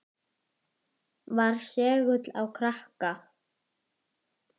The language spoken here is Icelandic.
Var segull á krakka.